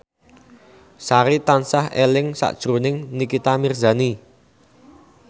Sari tansah eling sakjroning Nikita Mirzani